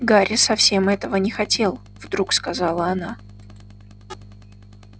гарри совсем этого не хотел вдруг сказала она